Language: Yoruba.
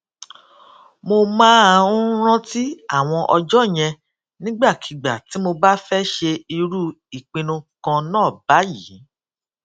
mo máa ń rántí àwọn ọjó yẹn nígbàkigbà tí mo bá fé ṣe irú ìpinnu kan náà báyìí